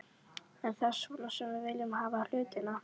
Er það svona sem við viljum hafa hlutina?